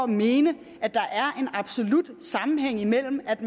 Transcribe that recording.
mene at der er en absolut sammenhæng mellem at